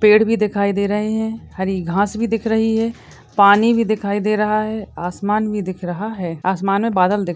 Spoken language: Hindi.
पेड़ भी दिखाई दे रहे है हरी घास भी दिख रही है पानी भी दिखाई दे रहा है आसमान भी दिख रहा है आसमान में बादल दिख--